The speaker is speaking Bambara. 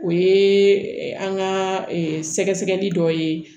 O ye an ka sɛgɛ sɛgɛli dɔ ye